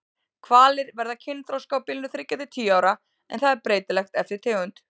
Hvalir verða kynþroska á bilinu þriggja til tíu ára en það er breytilegt eftir tegund.